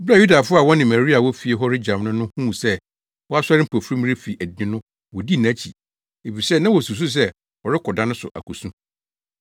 Bere a Yudafo a wɔne Maria wɔ fie hɔ regyam no no huu sɛ wasɔre mpofirim refi adi no wodii nʼakyi, efisɛ na wosusuw sɛ ɔrekɔ da no so akosu.